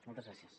moltes gràcies